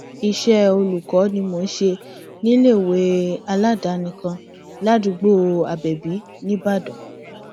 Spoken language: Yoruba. iṣẹ olùkọ ni mò ń ṣe níléèwé aládàáni kan ládùúgbò abẹbí nìbàdàn